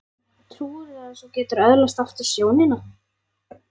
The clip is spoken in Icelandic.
Trúirðu að þú getir öðlast aftur sjónina?